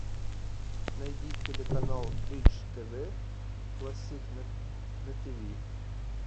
найди телеканал бридж тв классик на тв